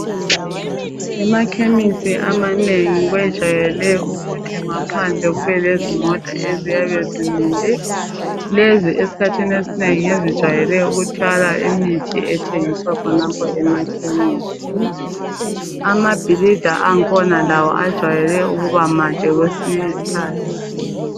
Emakhemesi amanengi kwejayele ukuthi ngaphandle kube lezimota eziyabe zimile lezi esikhathini esinengi ngezijwayele ukuthwala imithi ethengiswa khonapho emakhemisi, amabhilidi akhona lawo ajwayele ukuba made kwesinye isikhathi.